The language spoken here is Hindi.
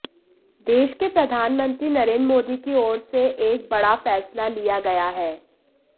देश के प्रधानमंत्री नरेन्द्र मोदी की ओर से एक बड़ा फैसला लिया गया है